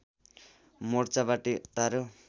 मोर्चाबाटै तारो